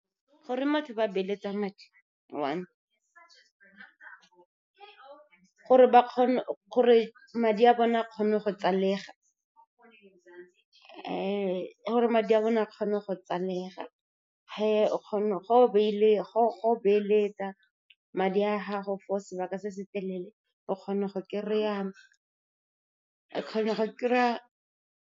Goreng batho ba beeletsa madi? One gore madi a bone a kgone go tsalega. o kgona go beeletsa madi a gago for sebaka se se telele, o kgona go kry-a.